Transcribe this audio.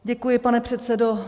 Děkuji, pane předsedo.